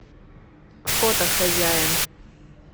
фото хозяин